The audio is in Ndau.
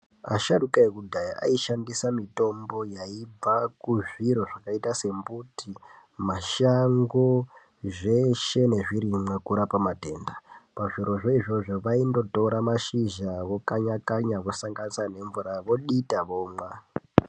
Asharuka ekudhaya aishandisa mitombo yaibva kuzviro zvakaita sembuti, mashango zveshe nezvirimwa kurapa matenda pazvirozvo izvozvo vaindotora mashizha vokanya kanya vosanganisa nemvura vodita vomwa.